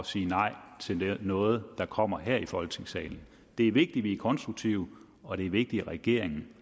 sige nej til noget der kommer her i folketingssalen det er vigtigt at vi er konstruktive og det er vigtigt at regeringen